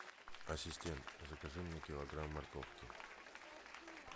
ассистент закажи мне килограмм морковки